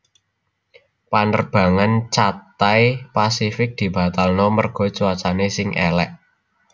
Penerbangan Cathay Pacific dibatalno merga cuacane sing elek